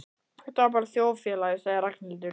Þetta er bara þjóðfélagið sagði Ragnhildur.